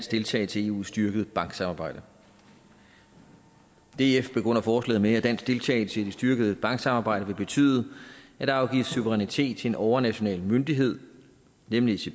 deltagelse i eus styrkede banksamarbejde df begrunder forslaget med at dansk deltagelse i det styrkede banksamarbejde vil betyde at der afgives suverænitet til en overnational myndighed nemlig